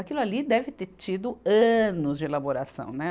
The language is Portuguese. Aquilo ali deve ter tido anos de elaboração, né.